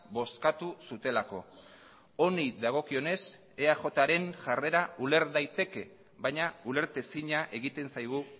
bozkatu zutelako honi dagokionez eajren jarrera uler daiteke baina ulertezina egiten zaigu